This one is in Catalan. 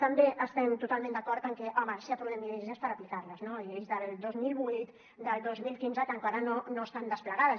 també estem totalment d’acord en que home si aprovem lleis és per aplicarles no lleis del dos mil vuit del dos mil quinze que encara no estan desplegades